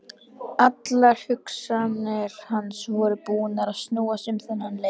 Allar hugsanir hans voru búnar að snúast um þennan leik.